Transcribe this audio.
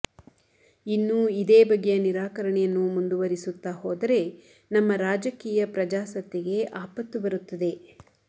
ಇನ್ನೂ ಇದೇ ಬಗೆಯ ನಿರಾಕರಣೆಯನ್ನು ಮುಂದುವರಿಸುತ್ತಾ ಹೋದರೆ ನಮ್ಮ ರಾಜಕೀಯ ಪ್ರಜಾಸತ್ತೆಗೆ ಆಪತ್ತು ಬರುತ್ತದೆ